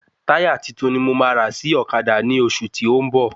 Táyà titun ni mo ma rà sí ọ̀kadà ní oṣù tí o n bọ̀